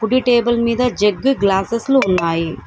కుడి టేబుల్ మీద jug glasses లు ఉన్నాయి.